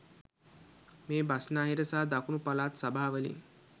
මේ බස්නාහිර සහ දකුණු පළාත් සභාවලින්